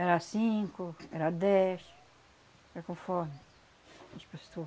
Era cinco, era dez, era conforme as